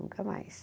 Nunca mais.